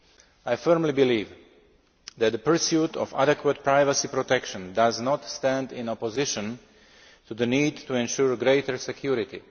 I firmly believe that the pursuit of adequate privacy protection does not stand in opposition to the need to ensure greater security.